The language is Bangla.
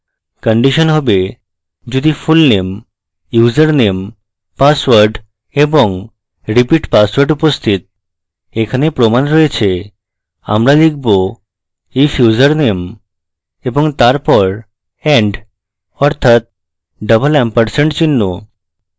condition have the fullname username password এবং repeat password উপস্থিত এখানে প্রমাণ রয়েছে আমরা লিখব if username এবং তারপর and অর্থাৎ double এম্পারসেন্ড চিহ্ন